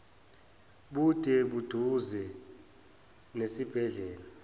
bude buduze nesibhedlela